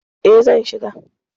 E, zan shiga.